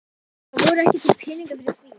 Það voru ekki til peningar fyrir því.